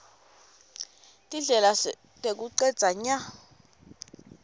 tindlela tekucedza nya